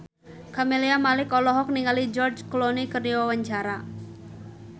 Camelia Malik olohok ningali George Clooney keur diwawancara